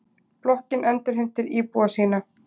Blokkin endurheimtir íbúa sína.